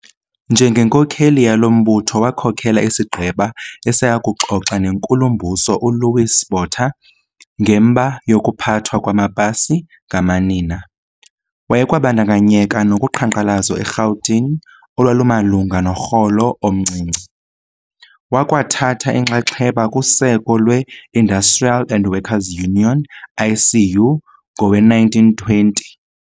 Njengenkokheli yalo mbutho wakhokela isigqeba esayokuxoxa neNkulu-mbuso uLouis Botha ngemba yokuphathwa kwamapasi ngamanina. Wayekwabandakanyeka nokuqhankqalazo eRhawutini olwalumalunga norholo omncinci wakwa thatha inxaxheba kuseko lweIndustrial and Workers' Union, ICU, ngowe-1920.